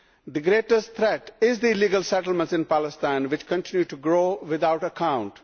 The greatest threat is the illegal settlements in Palestine, which continue to grow without account.